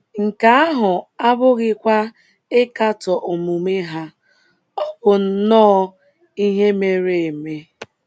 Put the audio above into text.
“ Nke ahụ abụghịkwa ịkatọ omume ha, ọ bụ nnọọ ihe mere eme. ”